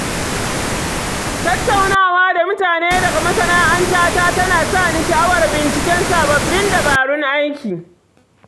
Tattaunawa da mutane daga masana’ata tana sa ni sha’awar binciken sabbin dabarun aiki.